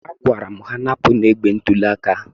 Agwara m ha, napụnụ igbe ntụli aka